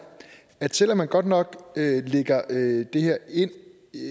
at selv om man godt nok lægger det her